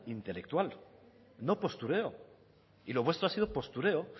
intelectual no postureo y lo vuestro ha sido postureo